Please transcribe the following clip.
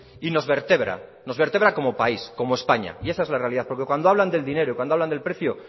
y nos vertebra nos vertebra como país como españa y esa es la realidad porque cuando hablan del dinero y cuando hablan del precio